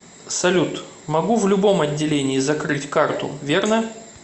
салют могу в любом отделении закрыть карту верно